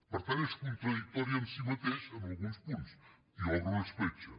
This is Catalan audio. per tant és contradictori en si mateix en alguns punts i obre una escletxa